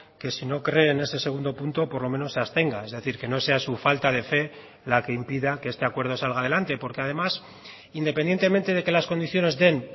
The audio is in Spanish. que si no cree en ese segundo punto por lo menos se abstenga es decir que no sea su falta de fe la que impida que este acuerdo salga adelante porque además independientemente de que las condiciones den